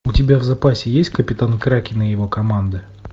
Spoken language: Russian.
у тебя в запасе есть капитан кракен и его команда